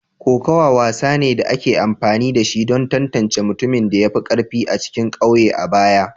Kokawa wasa ne da ake amfani da shi don tantance mutumin da ya fi karfi a cikin kauye a baya.